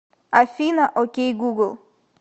афина окей гугл